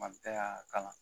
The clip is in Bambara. Madu jɛ y'a kala